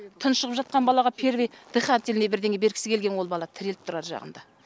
тұншығып жатқан балаға первый дыхательный бірдеңе бергісі келген ол бала тіреліп тұр ар жағында